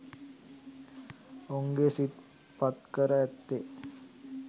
ඔවුන්ගේ සිත් පත්කර ඇත්තේ